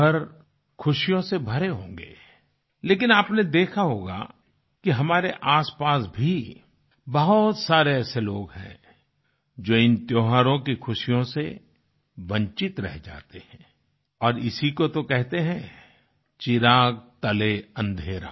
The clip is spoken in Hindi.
घर खुशियों से भरे होंगे लेकिन आपने देखा होगा कि हमारे आसपास भी बहुत सारे ऐसे लोग हैं जो इन त्योहारों की खुशियों से वंचित रह जाते हैं और इसी को तो कहते हैं चिराग तले अन्धेरा